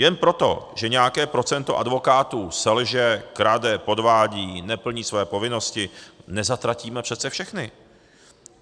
Jen proto, že nějaké procento advokátů selže, krade, podvádí, neplní své povinnosti, nezatratíme přece všechny.